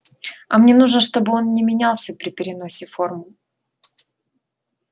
а мне нужно чтобы он не менялся при переносе формул